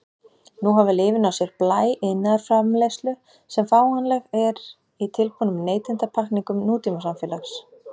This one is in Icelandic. Nú hafa lyfin á sér blæ iðnaðarframleiðslu sem fáanleg er í tilbúnum neytendapakkningum nútímasamfélags.